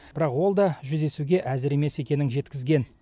бірақ ол да жүздесуге әзір емес екенін жеткізген